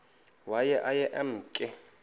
waye aye emke